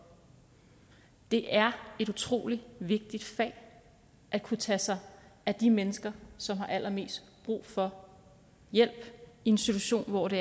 det er et utrolig vigtigt fag at kunne tage sig af de mennesker som har allermest brug for hjælp i en situation hvor de